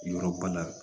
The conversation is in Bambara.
Yɔrɔ ba la